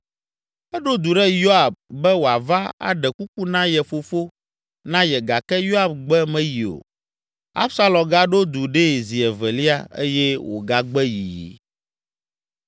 Eɖo du ɖe Yoab be wòava aɖe kuku na ye fofo na ye gake Yoab gbe meyi o. Absalom gaɖo du ɖee zi evelia eye wògagbe yiyi.